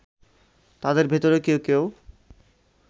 তাদের ভেতরে কেউ কেউ